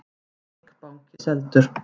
Eik banki seldur